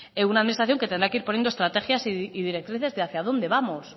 una administración que tendrá que ir poniendo estrategias y directrices de hacia dónde vamos